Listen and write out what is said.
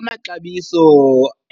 Amaxabiso